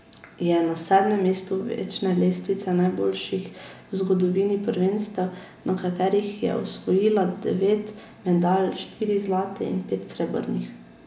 Je na sedmem mestu večne lestvice najboljših v zgodovini prvenstev, na katerih je osvojila devet medalj, štiri zlate in pet srebrnih.